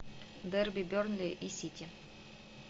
дерби бернли и сити